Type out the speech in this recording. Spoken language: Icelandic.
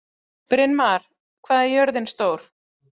Brynmar, hvað er jörðin stór?